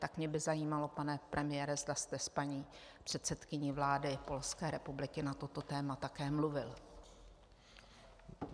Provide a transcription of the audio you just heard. Tak mě by zajímalo, pane premiére, zda jste s paní předsedkyní vlády Polské republiky na toto téma také mluvil.